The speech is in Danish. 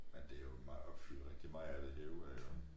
Men det jo meget opfyld rigtig meget af det herude af jo